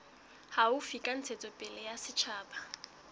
haufi tsa ntshetsopele ya setjhaba